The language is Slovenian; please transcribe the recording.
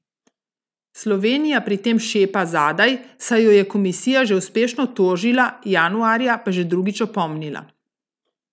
Slovenija pri tem šepa zadaj, saj jo je komisija že uspešno tožila, januarja pa že drugič opomnila.